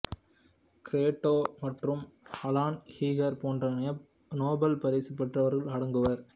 க்ரோட்டோ மற்றும் Alan Heeger போன்ற Nobel பரிசு பெற்றவர்களும் அடங்குவர்